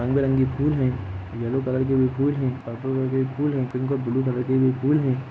रंग बिरंगे फूल है येलो कलर के भी फूल है पर्पल कलर के भी फूल है पिंक और ब्लू कलर के भी फूल हैं।